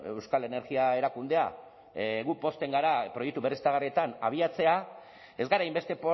euskal energia erakundea gu pozten gara proiektu berriztagarrietan abiatzea ez gara hainbeste